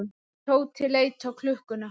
Tóti leit á klukkuna.